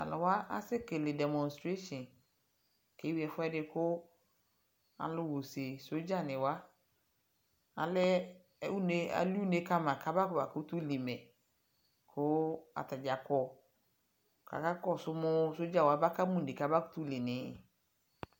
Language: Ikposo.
talʋ wa asɛ kɛlɛ demonstration ʋkʋ ɛwii ɛƒʋɛdi kʋ alʋ ha ʋsɛ, soldier ni wa, alɛ ʋnɛ, ɛli ʋnɛ kama kaƒa ma kʋtʋ li mɛ kʋ atagya kɔ kʋ aka kɔsʋ mʋ soldier wani. aba kama ʋnɛ kama kʋtʋ li ʋnɛ.